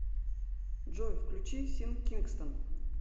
джой включи син кингстон